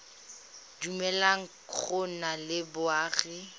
dumeleleng go nna le boagi